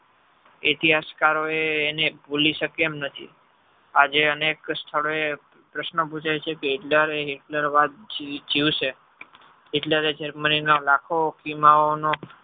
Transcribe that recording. ઇતિહાસ કરો એને ભૂલી શકે તેમ નથી આજે અનેક સ્થળો પ્રશ્ન પુછાય છે કે Hitler રે Hitler વાદ જીવશે.